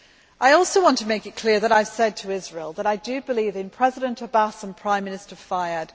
I also want to make it clear that I have said to Israel that I do believe in President Abbas and Prime Minister Fayyad.